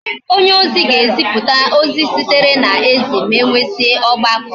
onye ozi ga ezipu ozi sitere na eze, ma enwesia ogbako